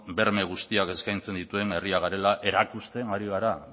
berme guztiak eskaintzen dituen herria garela erakusten ari gara